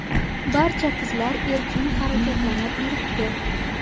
Barcha qizlar erkin harakatlanib yuribdi.